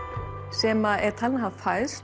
sem er talin hafa fæðst